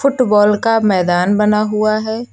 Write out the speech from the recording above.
Football का मैदान बना हुआ है।